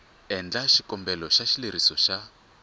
endla xikombelo xa xileriso xa